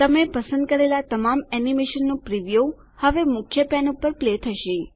તમે પસંદ કરેલાં તમામ એનીમેશનનું પ્રીવ્યું પૂર્વદર્શન હવે મુખ્ય પેન પર પ્લે થશે